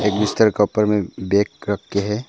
बिस्तर का ऊपर में बैग रखे हैं।